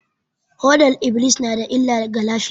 Fodar -iblis na da illa ga lafiya